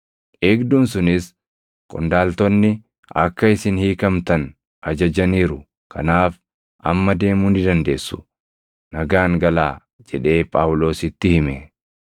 Eegduun sunis, “Qondaaltonni akka isin hiikamtan ajajaniiru; kanaaf amma deemuu ni dandeessu; nagaan galaa” jedhee Phaawulositti hime.